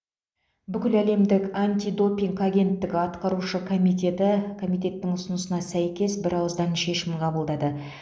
бүкіләлемдік антидопинг агенттігі атқарушы комитеті комитеттің ұсынысына сәйкес бірауыздан шешім қабылдады